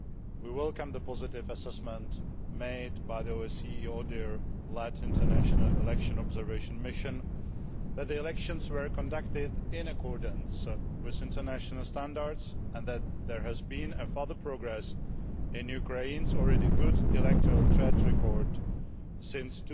We welcome the positive assessment made by the OSCE ODIHR led International Election Observation Mission that the elections were conducted in accordance with international standards and that there has been further progress in Ukraine's already good electoral track record since